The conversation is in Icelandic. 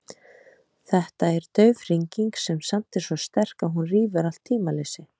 Þetta er dauf hringing sem samt er svo sterk að hún rýfur allt tímaleysi.